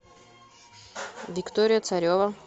виктория царева